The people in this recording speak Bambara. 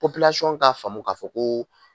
Popilasɔn k'a faamu k'a fɔ ko